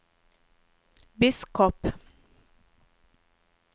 biskop